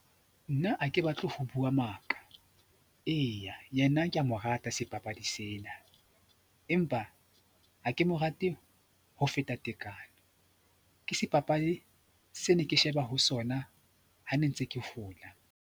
Nna ha ke batle ho bua maka, Eya, yena ke mo rata sebapadi sena empa ha ke mo rate ho feta tekano. Ke sebapadi se ne ke sheba ho sona ha ne ntse ke hola.